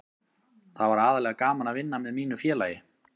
Það var aðallega gaman að vinna með mínu félagi.